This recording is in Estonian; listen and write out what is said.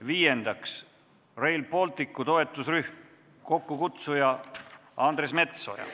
Viiendaks, Rail Balticu toetusrühm, kokkukutsuja on Andres Metsoja.